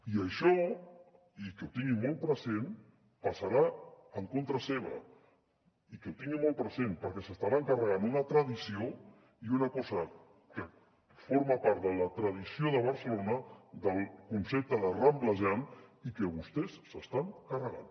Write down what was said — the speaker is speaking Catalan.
i això i que ho tinguin molt present passarà en contra seva perquè s’estaran carregant una tradició i una cosa que forma part de la tradició de barcelona del concepte de ramblejar i que vostès s’estan carregant